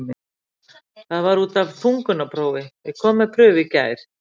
Það var út af þungunarprófi, ég kom með prufu í gær.